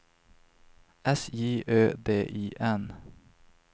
S J Ö D I N